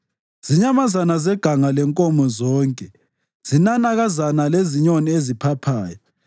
zinyamazana zeganga lenkomo zonke, zinanakazana lezinyoni eziphaphayo,